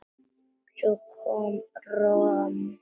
Svo kom romsan.